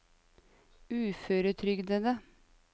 uføretrygdede